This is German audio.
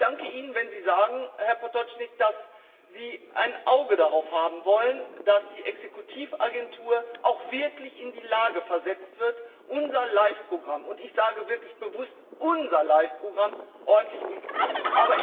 Ich danke Ihnen, wenn Sie sagen, Herr Potočnik, dass Sie ein Auge darauf haben wollen, dass die Exekutivagentur auch wirklich in die Lage versetzt wird, unser LIFE Programm und ich sage wirklich bewusst unser LIFE Programm ordentlich umzusetzen.